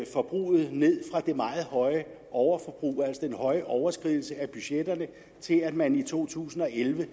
forbruget ned fra det meget høje overforbrug altså den høje overskridelse af budgetterne til at man i to tusind og elleve